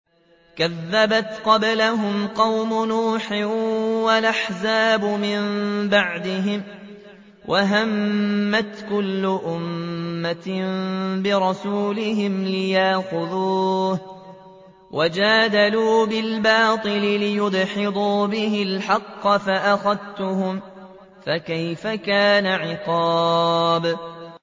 كَذَّبَتْ قَبْلَهُمْ قَوْمُ نُوحٍ وَالْأَحْزَابُ مِن بَعْدِهِمْ ۖ وَهَمَّتْ كُلُّ أُمَّةٍ بِرَسُولِهِمْ لِيَأْخُذُوهُ ۖ وَجَادَلُوا بِالْبَاطِلِ لِيُدْحِضُوا بِهِ الْحَقَّ فَأَخَذْتُهُمْ ۖ فَكَيْفَ كَانَ عِقَابِ